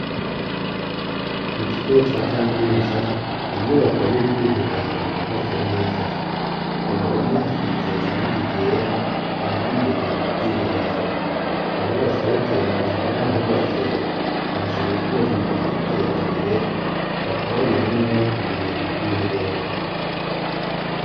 Mu kigo ca kaminuza ni inyubako y'ubwiherero yubatse neza ko ruhome hasize iranga ryera, kandi imbere mu bwiherero aho basohokera barahubatse bahashira utwuma twiterambere bakarabiramwo bavuye mu bwoiherero.